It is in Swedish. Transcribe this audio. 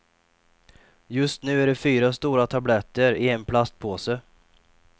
Just nu är det fyra stora tabletter i en plastpåse.